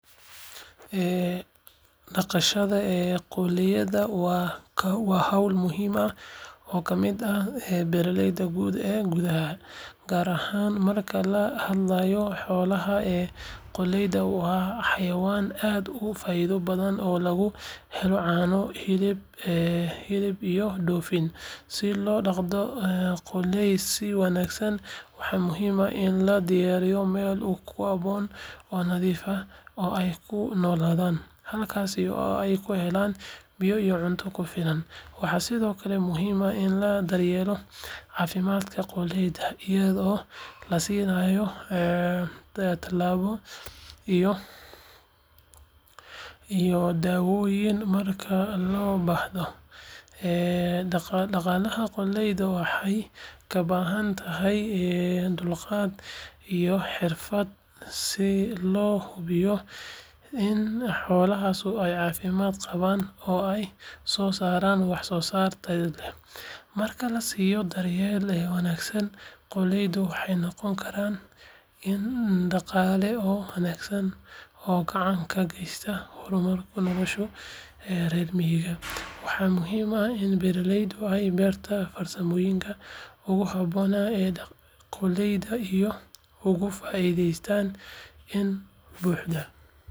Dhaqashada qoolleyda waa hawl muhiim ah oo ka mid ah beereedka guud ee gudaha, gaar ahaan marka laga hadlayo xoolaha. Qoolleydu waa xayawaan aad u faa’iido badan oo laga helo caano, hilib, iyo dhoofin. Si loo dhaqdo qoolley si wanaagsan, waxaa muhiim ah in la diyaariyo meel ku habboon oo nadiif ah oo ay ku noolaadaan, halkaas oo ay ka helaan biyo iyo cunto ku filan. Waxaa sidoo kale muhiim ah in la daryeelo caafimaadka qoolleyda, iyadoo la siinayo tallaalo iyo daawooyin marka loo baahdo. Dhaqashada qoolleydu waxay u baahan tahay dulqaad iyo xirfad si loo hubiyo in xoolahaasi ay caafimaad qabaan oo ay soo saaraan wax soo saar tayo leh. Marka la siiyo daryeel wanaagsan, qoolleydu waxay noqon karaan il dhaqaale oo wanaagsan oo gacan ka geysta horumarinta nolosha reer miyiga. Waxaa muhiim ah in beeralaydu ay bartaan farsamooyinka ugu habboon ee dhaqashada qoolleyda si ay uga faa’iidaystaan si buuxda.